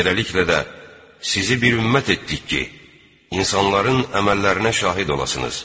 Beləliklə də, sizi bir ümmət etdik ki, insanların əməllərinə şahid olasınız.